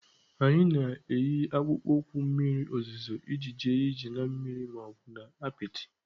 A na-eyi akpụkpọ ụkwụ mmiri ozuzo iji jee ije na mmiri ma ọ bụ ebe apịtị.